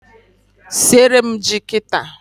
Siere m ji kita